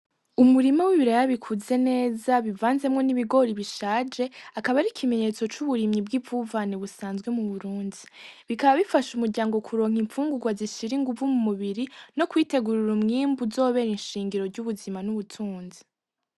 Umurima w' ibiraya bikuze neza uvanzemwo n' ibigori bishaje akaba ari ikimenyetso c'uburimyi bw'ivuvane busanzwe mu Burundi, bikaba bifasha umuryango kuronka infungugwa zishira inguvu mumubiri no kwitegurira umwimbu uzobera inshingiro ry'ubuzima n' ubutunzi.